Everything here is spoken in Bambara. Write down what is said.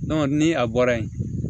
ni a bɔra yen